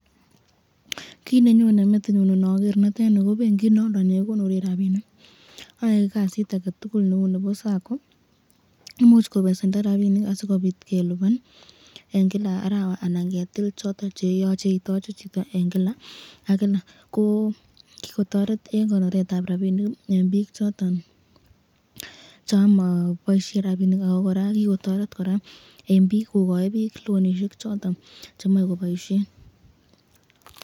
Kiit nenyone metinyun noker netenii koo bengit noodon nee kikonoren rabinik, oyoee kasit aketukul neu Nebo sakoo, imuch kobesendo rabinik asikobit keliban eenkila arawa ananketil choton cheyoche itoche chuton eenkila ak kilak koo kikotoret en konoret tab rabinik